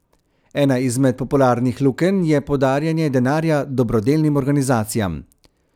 Ena izmed popularnih lukenj je podarjanje denarja dobrodelnim organizacijam.